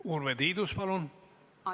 Urve Tiidus, palun!